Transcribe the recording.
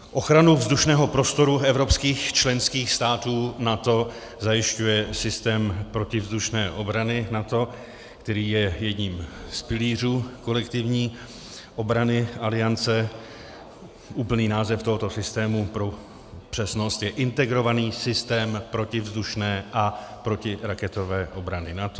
Ochranu vzdušného prostoru evropských členských států NATO zajišťuje systém protivzdušné obrany NATO, který je jedním z pilířů kolektivní obrany Aliance, úplný název tohoto systému pro přesnost je Integrovaný systém protivzdušné a protiraketové obrany NATO.